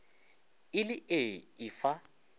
e le ee e fa